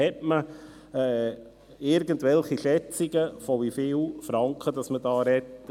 – Hat man irgendwelche Schätzungen dazu, von wie vielen Franken wir hier sprechen?